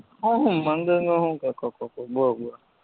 આ શું મંદિરનું શું કેતોતો બોલ જયે